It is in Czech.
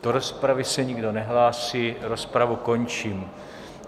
Do rozpravy se nikdo nehlásí, rozpravu končím.